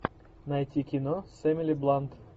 найти кино с эмили блант